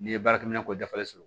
N'i ye baarakɛminɛn ko dafalen sɔrɔ